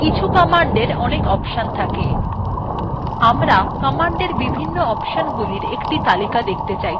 কিছু command we অনেক option থাকে আমরা commands বিভিন্ন অপশনগুলি একটি তালিকা দেখতে চাইতে পারি